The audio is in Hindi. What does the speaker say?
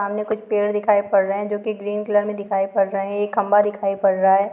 --सामने कुछ पेड़ दिखाई पड़ रहे है जो कि ग्रीन कलर में दिखाई पड़ रहे हैं एक खंभा दिखाई पड़ रहा है।